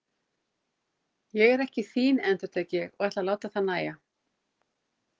Ég er ekki þín, endurtek ég og ætla að láta það nægja.